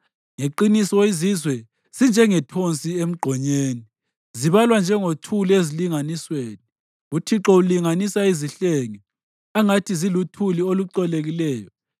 Ngeqiniso izizwe zinjengethonsi emgqonyeni; zibalwa njengothuli ezilinganisweni; uThixo ulinganisa izihlenge angathi ziluthuli olucolekileyo.